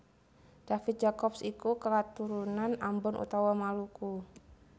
David Jacobs iku katurunan Ambon utawa Maluku